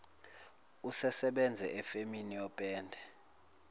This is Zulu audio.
usesebenze efemini yopende